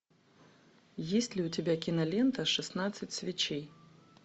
есть ли у тебя кинолента шестнадцать свечей